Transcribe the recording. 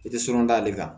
I tɛ surun da ale kan